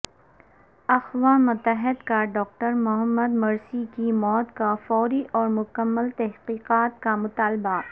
اقوا متحدہ کا doctor Mohamed Morsi کی موت کا فوری اور مکمل تحقیقات کا مطالبہ